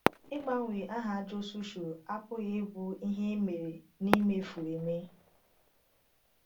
Ịgbanwe aha Jisọshụ apụghị ịbụ ihe e mere n’imefu eme.